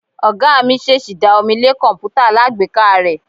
Oga mi sẹsì da omí le kọǹpútà alágbèéká re.